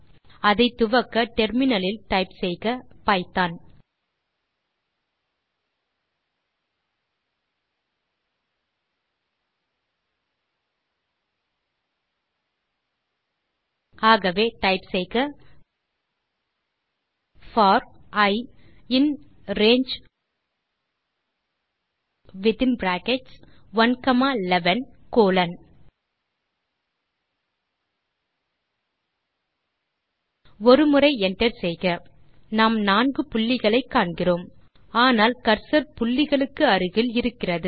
அதை துவக்க டெர்மினல் இல் கமாண்ட் எழுதவும் பைத்தோன் ஆகவே டைப் செய்க for i in range within brackets 111 colon ஒரு முறை enter செய்க நாம் நான்கு புள்ளிகளை காண்கிறோம் ஆனால் கர்சர் புள்ளிகளுக்கு அருகில் இருக்கிறது